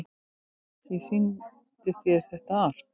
Ég sýndi þér þetta allt.